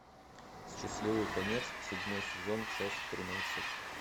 счастливый конец седьмой сезон часть тринадцать